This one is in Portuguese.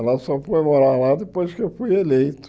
Ela só foi morar lá depois que eu fui eleito.